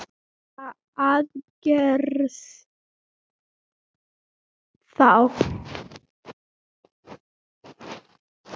Hverra aðgerða þá?